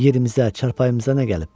yerimizdə, çarpayımıza nə gəlib?